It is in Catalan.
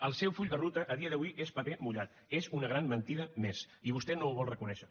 el seu full de ruta a dia d’avui és paper mullat és una gran mentida més i vostè no ho vol reconèixer